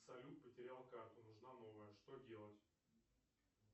салют потерял карту нужна новая что делать